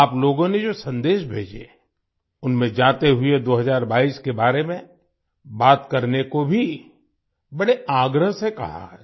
आप लोगों ने जो सन्देश भेजे उनमें जाते हुए 2022 के बारे में बात करने को भी बड़े आग्रह से कहा है